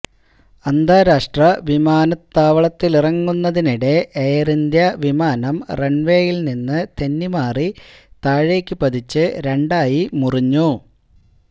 അന്താരാഷ്ട്ര വിമാനത്താവളത്തിലിറങ്ങുന്നതിനിടെ എയര്ഇന്ത്യ വിമാനം റണ്വേയില്നിന്ന് തെന്നിമാറി താഴേക്കുപതിച്ച് രണ്ടായി മുറിഞ്ഞു